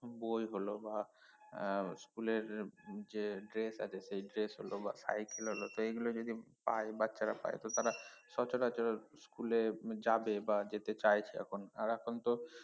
বই হল বা এর school এর যে dress আছে সেই dress হল বা cycle হল তো এগুলো যদি পায় বাচ্চারা পায় তো তারা সচরাচর school এ যাবে বা যেতে চাইছে এখন আর এখন তো